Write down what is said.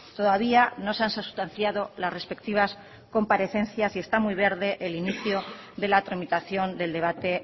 todavía no se han sustanciado las respectivas comparecencias y está muy verde el inicio de la tramitación del debate